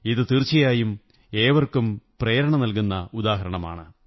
ഇത് തീര്ച്ച്യായും ഏവര്ക്കും പ്രേരണയേകുന്ന ഉദാഹരണമാണ്